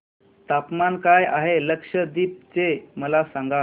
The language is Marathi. तापमान काय आहे लक्षद्वीप चे मला सांगा